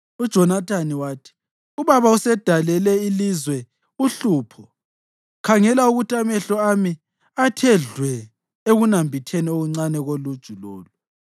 UJonathani wathi, “Ubaba usedalele ilizwe uhlupho. Khangela ukuthi amehlo ami athe dlwe ekunambitheni kwami okuncane koluju lolu.